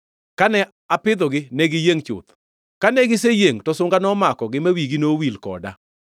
Kane apidhogi ne giyiengʼ chuth; kane giseyiengʼ to sunga nomakogi; ma wigi owil koda.